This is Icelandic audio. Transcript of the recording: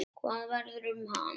Hvað verður um hann?